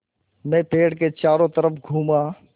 मैं पेड़ के चारों तरफ़ घूमा